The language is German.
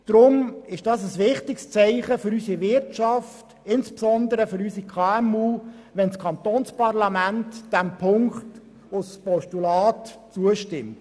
Deshalb ist es ein wichtiges Zeichen für unsere Wirtschaft, insbesondere für unsere KMU, wenn das Kantonsparlament diesem Punkt als Postulat zustimmt.